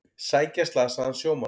Sækja slasaðan sjómann